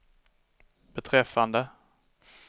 beträffande